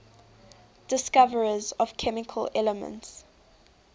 discoverers of chemical elements